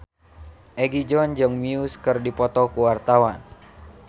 Egi John jeung Muse keur dipoto ku wartawan